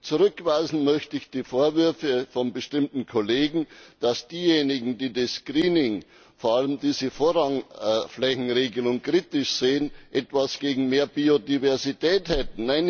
Zurückweisen möchte ich die Vorwürfe von bestimmten Kollegen, dass diejenigen, die das Greening vor allem diese Vorrangflächenregelung kritisch sehen, etwas gegen mehr Biodiversität hätten.